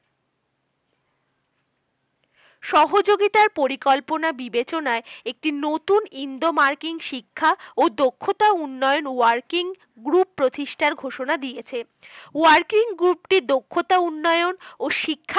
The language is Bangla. সহযোগিতার পরিকল্পনা বিবেচনায় একটি নতুন ইন্দো-মার্কিন শিক্ষা ও দক্ষতা উন্নয়ন working group প্রতিষ্ঠতার ঘোষণা দিয়েছে working group টি দক্ষতা উন্নয়ন ও শিক্ষা